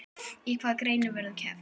Í hvaða greinum verður keppt?